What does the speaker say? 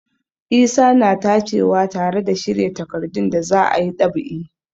Isa na tacewa tare da shirya takardun da za a yi ɗab'i.